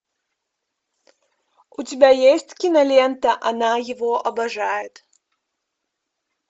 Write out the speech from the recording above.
у тебя есть кинолента она его обожает